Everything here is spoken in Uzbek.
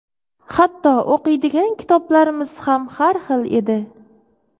Hatto o‘qiydigan kitoblarimiz ham har xil edi.